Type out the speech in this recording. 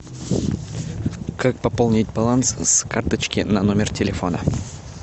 как пополнить баланс с карточки на номер телефона